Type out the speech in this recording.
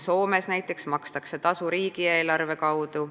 Soomes näiteks makstakse tasu riigieelarve kaudu.